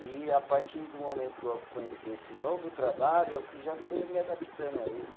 E a partir do momento que eu conheci esse novo trabalho, eu fui já fui me adaptando a ele né.